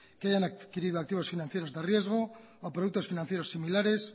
que hayan adquirido activos financieros de riesgo o productos financieros similares